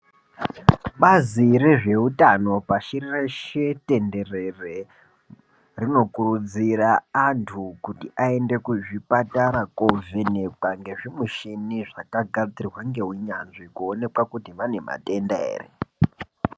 Bazi rezvehutano pashi reshe tenderere rinokurudzira antu kuti aende kuzvipatara kovhenekwa ngezvimushini zvakagadzirwa ngeunyanzvi kuonekwa kuti vane matenda here.